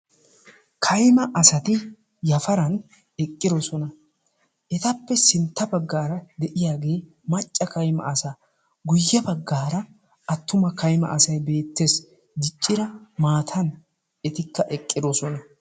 Kaymma asati yafaran eqqidoosona. Etappe sintta baggaara de'iyaage macca kaymma asa, guyyee baggaara de'iyaagee macca kaymma asay beettees. Diccida maatan etikka eqqidoosona.